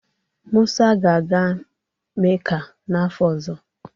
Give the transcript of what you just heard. Musa ga-aga Mecca n'afọ ọzọ